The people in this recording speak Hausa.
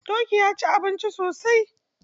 Doki ya ci abinci sosai.